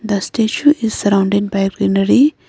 the statue is surrounded by reenery .